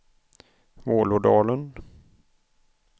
Vålådalen